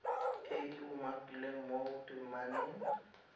e e umakilweng mo temaneng